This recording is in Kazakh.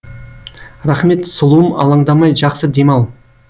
рахмет сұлуым аландамай жақсы демал